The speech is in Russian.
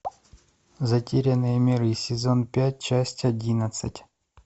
затерянные миры сезон пять часть одиннадцать